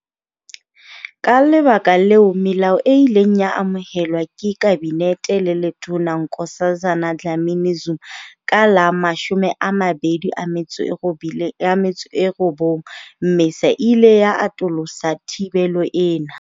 Ka lebaka leo, melao e ileng ya amohelwa ke kabinete le letona Nkosazana Dlamini-Zuma ka la 29 Mmesa e ile ya atolosa thibelo ena.